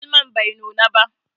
Malmon bai nuna ba.